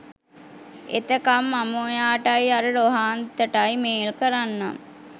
එතකම් මම ඔයාටයි අර රොහාන්තටයි මේල් කරන්නම්